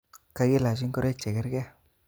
Kakilach ingoroik chekerke